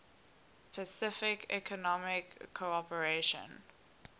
pacific economic cooperation